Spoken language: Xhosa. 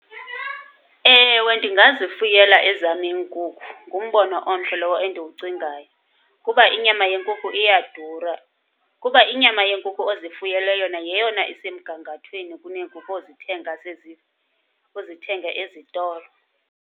Ewe, ndingazifuyela ezam iinkukhu, ngumbono omhle lowo endiwucingayo kuba inyama yenkukhu iyadura. Kuba inyama yenkukhu ozifuyele yona yeyona isemgangathweni kuneenkukhu ozithenga ozithenga ezitolo.